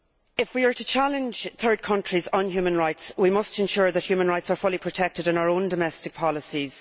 If we are to challenge third countries on human rights, we must ensure that human rights are fully protected in our own domestic policies.